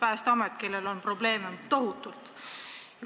Neid ameteid, kus on probleeme, on tohutult.